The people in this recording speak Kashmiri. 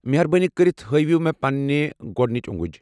مہربٲنی کٔرِتھ ہٲوِو مےٚ پننہِ گۄڑنِچ اوٚنٛگٕج۔